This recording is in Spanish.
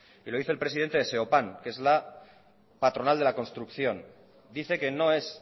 y lo dice el presidente de seopan que es la patronal de la construcción dice que no es